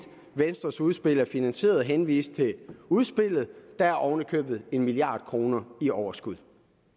venstres udspil er finansieret henvise til udspillet der er oven i købet en milliard kroner i overskud